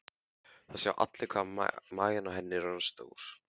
Það sjá allir hvað maginn á henni er orðinn stór.